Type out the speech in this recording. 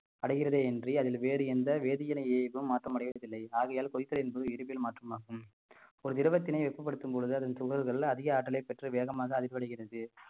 அடைகிறதே இன்றி அதில் வேறு எந்த வேதிவினையையும் மாற்றமடைவதில்லை ஆகையால் கொதித்தல் என்பது இயற்பியல் மாற்றமாகும் ஒரு திரவத்தினை வெப்பப்படுத்தும் பொழுது அதன் துகள்கள் அதிக ஆற்றலை பெற்று வேகமாக அடிபடுகிறது